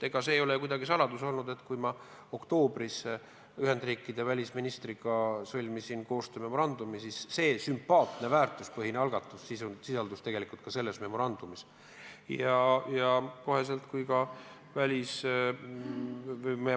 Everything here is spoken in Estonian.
Ega see ei ole saladus olnud, et kui ma oktoobris kirjutasin koos Ühendriikide välisministriga alla koostöömemorandumi, siis see sisaldas ka seda sümpaatset väärtuspõhist algatust.